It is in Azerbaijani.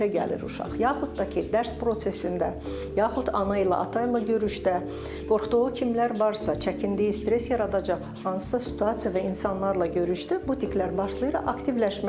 yaxud da ki, dərs prosesində, yaxud ana ilə, ata ilə görüşdə, qorxduğu kimlər varsa, çəkindiyi, stres yaradacaq hansısa situasiya və insanlarla görüşdə bu tiklər başlayır aktivləşməyə.